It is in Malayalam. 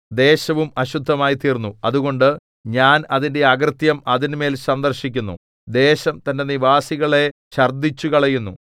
ദേശവും അശുദ്ധമായിത്തീർന്നു അതുകൊണ്ട് ഞാൻ അതിന്റെ അകൃത്യം അതിന്മേൽ സന്ദർശിക്കുന്നു ദേശം തന്റെ നിവാസികളെ ഛർദ്ദിച്ചുകളയുന്നു